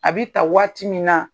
A be ta waati min na